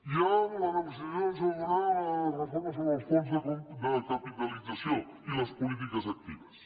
hi ha una negociació sobre la reforma sobre els fons de capitalització i les polítiques actives